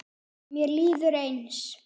Mér líður eins.